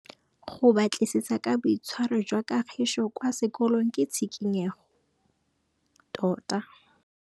Go batlisisa ka boitshwaro jwa Kagiso kwa sekolong ke tshikinyêgô tota.